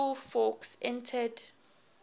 school fawkes entered